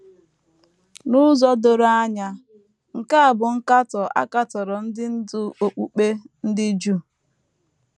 N’ụzọ doro anya, nke a bụ nkatọ a katọrọ ndị ndú okpukpe ndị Juu.